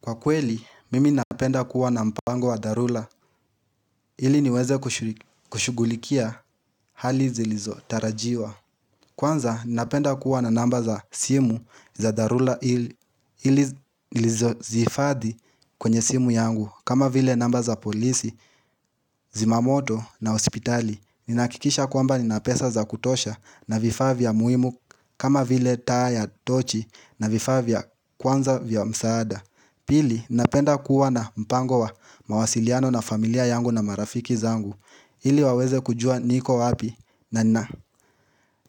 Kwa kweli, mimi napenda kuwa na mpango wa dharura. Ili niweze kushugulikia hali zilizotarajiwa. Kwanza, napenda kuwa na namba za simu za dharura ili nizihiifadhi kwenye simu yangu kama vile namba za polisi, zimamoto na hospitali. Ninahakikisha kwamba nina pesa za kutosha na vifaa muhimu kama vile taa ya tochi na vifaa vya, kwanza vya msaada. Pili, napenda kuwa na mpango wa mawasiliano na familia yangu na marafiki zangu ili waweze kujua niko wapi na nina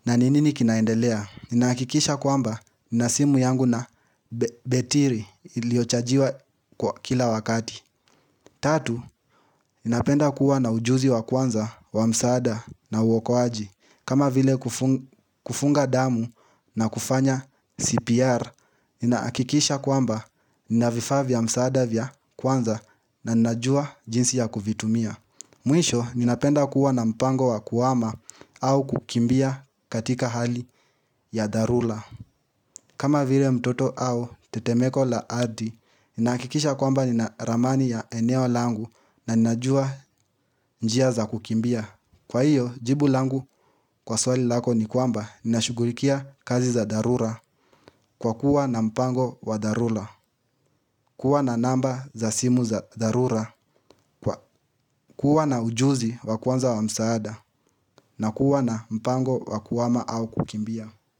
na nini kinaendelea. Ninahakikisha kwamba nina simu yangu na betiri iliyochajiwa kila wakati Tatu, napenda kuwa na ujuzi wa kwanza wa msaada na uokoaji kama vile kufunga damu na kufanya CPR Ninahakikisha kwamba nina vifaa vya msaada vya kwanza na ninajua jinsi ya kuvitumia Mwisho ninapenda kuwa na mpango wa kuhama au kukimbia katika hali ya dharura. Kama vile mtoto au tetemeko la ardhi. Ninahakikisha kwamba nina ramani ya eneo langu na ninajua njia za kukimbia. Kwa hiyo jibu langu kwa swali lako ni kwamba ninashugulikia kazi za dharura kwa kuwa na mpango wa dharura. Kuwa na namba za simu za dharura huwa na ujuzi wa kwanza wa msaada. Na kuwa na mpango wa kuhama au kukimbia.